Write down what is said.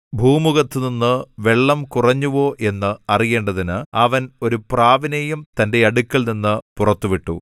ഭൂമുഖത്തുനിന്ന് വെള്ളം കുറഞ്ഞുവോ എന്ന് അറിയേണ്ടതിന് അവൻ ഒരു പ്രാവിനെയും തന്റെ അടുക്കൽനിന്ന് പുറത്തു വിട്ടു